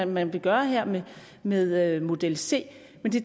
man vil gøre her med med model c men det